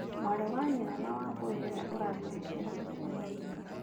Mwari wa nyina na Wambũi, nĩwe ũratũhingĩra mũcemanio.